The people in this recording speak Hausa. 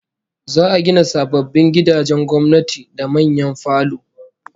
Za'a gina sababbin gidajen gwamnati da manyan falo